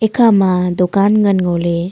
ikha ma dukan ngan ngo ley.